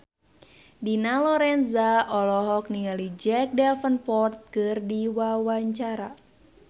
Dina Lorenza olohok ningali Jack Davenport keur diwawancara